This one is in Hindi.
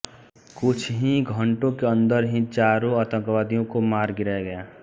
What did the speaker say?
कुछ ही घंटों के अंदर ही चारों आतंकियों को मार गिराया गया